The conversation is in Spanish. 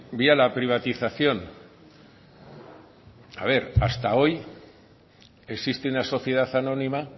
vía la privatización a ver hasta hoy existe una sociedad anónima